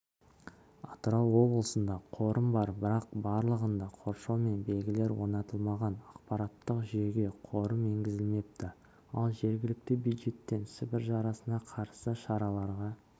атырау облысында қорым бар бірақ барлығында қоршау мен белгілер орнатылмаған ақпараттық жүйеге қорым енгізілмепті ал жергілікті бюджеттен сібір жарасына қарсы шараларға